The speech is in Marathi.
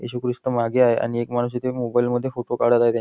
येशू ख्रिस्त मागे आहे आणि एक माणूस मोबाईल मध्ये इथे फोटो काढत आहे त्या--